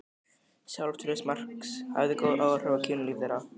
Sjálfstraust Marks hafði góð áhrif á kynlíf þeirra.